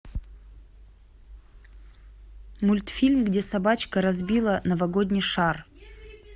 мультфильм где собачка разбила новогодний шар